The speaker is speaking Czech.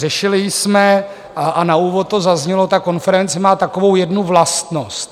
Řešili jsme a na úvod to zaznělo - ta konference má takovou jednu vlastnost.